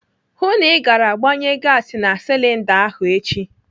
Hụụ na ị gara gbanye gasi na silinda ahụ echi!